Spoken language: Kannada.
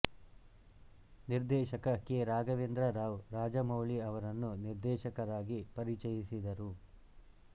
ನಿರ್ದೇಶಕ ಕೆ ರಾಘವೇಂದ್ರ ರಾವ್ ರಾಜಮೌಳಿ ಅವರನ್ನು ನಿರ್ದೇಶಕರಾಗಿ ಪರಿಚಯಿಸಿದರು